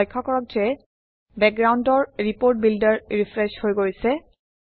লক্ষ্য কৰক যে বেকগ্ৰাউণ্ডৰ ৰিপোৰ্ট বিল্ডাৰ ৰিফ্ৰেছ হৈ গৈছে